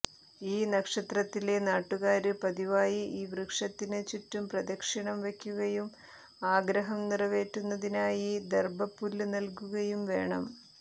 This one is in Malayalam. ഈ നക്ഷത്രത്തിലെ നാട്ടുകാര് പതിവായി ഈ വൃക്ഷത്തിന് ചുറ്റും പ്രദക്ഷിണം വയ്ക്കുകയും ആഗ്രഹം നിറവേറ്റുന്നതിനായി ദര്ഭ പുല്ല് നല്കുകയും വേണം